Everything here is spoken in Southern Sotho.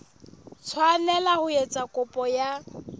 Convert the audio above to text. tshwanela ho etsa kopo ya